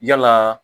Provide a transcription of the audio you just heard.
Yala